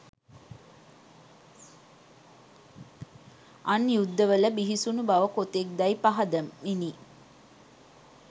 අන් යුද්ධවල බිහිසුණු බව කොතෙක්දැයි පහදමිනි.